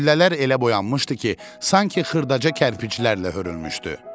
Güllələr elə boyanmışdı ki, sanki xırdaca kərpiclərlə hörülmüşdü.